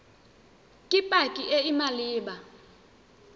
ke pac e e maleba